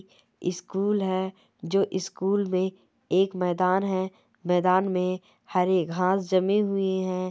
School है जो school मे एक मैदान है मैदान मे हरी घास जमी हुई है।